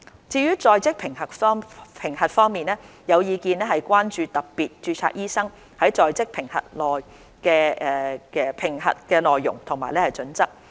至於在職評核方面，有意見亦關注特別註冊醫生的在職評核內容及準則。